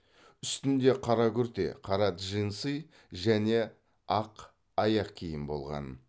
үстінде қара күрте қара джинсы және ақ аяқ киім болған